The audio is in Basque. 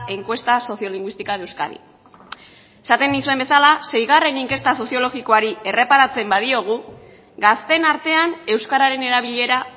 encuesta sociolingüística de euskadi esaten nizuen bezala seigarren inkesta soziologikoari erreparatzen badiogu gazteen artean euskararen erabilera